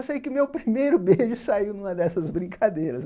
Eu sei que meu primeiro beijo saiu numa dessas brincadeiras.